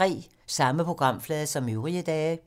Samme programflade som øvrige dage